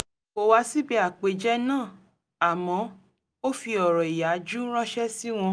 kò wá síbi àpèjẹ náà àmọ́ ó fi ọ̀rọ̀ ìyàjú ránṣẹ́ sí wọn